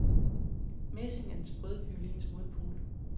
Messinge er den sprøde violins modpol.